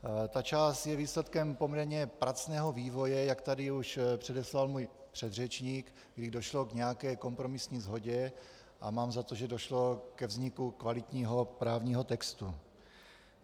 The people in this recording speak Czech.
Ta část je výsledkem poměrně pracného vývoje, jak tady už předeslal můj předřečník, kdy došlo k nějaké kompromisní shodě, a mám za to, že došlo ke vzniku kvalitního právního textu.